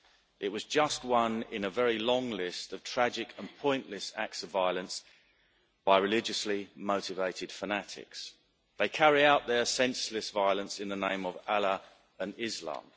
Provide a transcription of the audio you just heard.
It was just one in a very long list of tragic and pointless acts of violence by religiously motivated fanatics. They carry out their senseless violence in the name of Allah and Islam.